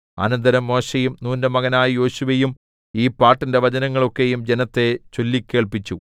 അനന്തരം മോശെയും നൂന്റെ മകനായ യോശുവയും ഈ പാട്ടിന്റെ വചനങ്ങൾ ഒക്കെയും ജനത്തെ ചൊല്ലിക്കേൾപ്പിച്ചു